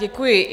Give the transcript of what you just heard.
Děkuji.